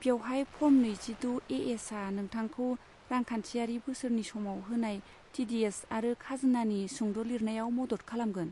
बेवहाय फर्म नैजिद' ए.एस.आ नोंथांखौ रांखान्थियारि बोसोरनि समाव होनाय टि.डि.एस. आरो खाजोनानि सुंद लिरनायाव मदद खालामगोन।